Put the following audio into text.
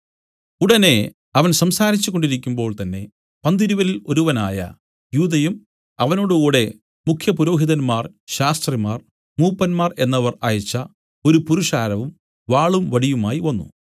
ഉടനെ അവൻ സംസാരിച്ചു കൊണ്ടിരിക്കുമ്പോൾ തന്നേ പന്തിരുവരിൽ ഒരുവനായ യൂദയും അവനോടുകൂടെ മുഖ്യപുരോഹിതന്മാർ ശാസ്ത്രിമാർ മൂപ്പന്മാർ എന്നവർ അയച്ച ഒരു പുരുഷാരവും വാളും വടിയുമായി വന്നു